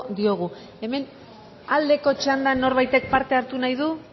diogu hemen aldeko txandan norbaitek parte hartu nahi du